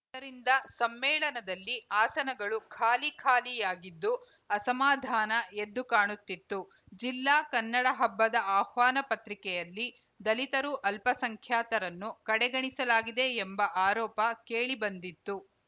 ಇದರಿಂದ ಸಮ್ಮೇಳನದಲ್ಲಿ ಆಸನಗಳು ಖಾಲಿ ಖಾಲಿಯಾಗಿದ್ದು ಅಸಮಾಧಾನ ಎದ್ದು ಕಾಣುತ್ತಿತ್ತು ಜಿಲ್ಲಾ ಕನ್ನಡ ಹಬ್ಬದ ಆಹ್ವಾನ ಪತ್ರಿಕೆಯಲ್ಲಿ ದಲಿತರು ಅಲ್ಪಸಂಖ್ಯಾತರನ್ನು ಕಡೆಗಣಿಸಲಾಗಿದೆ ಎಂಬ ಆರೋಪ ಕೇಳಿಬಂದಿತ್ತು